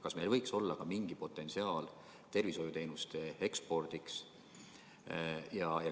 Kas meil ei võiks olla mingi potentsiaal tervishoiuteenuste ekspordiks?